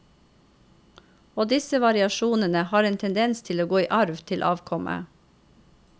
Og disse variasjonene har en tendens til å gå i arv til avkommet.